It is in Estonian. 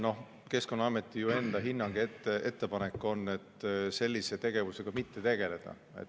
Keskkonnaameti enda hinnang ja ettepanek on sellise tegevusega mitte tegeleda.